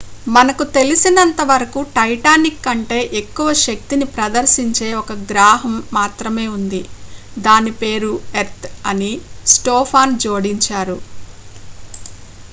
మనకు తెలిసినంతవరకు టైటాన్ కంటే ఎక్కువ శక్తిని ప్రదర్శించే ఒక గ్రాహం మాత్రమే ఉంది దాని పేరు ఎర్త్ అని స్టోఫాన్ జోడించారు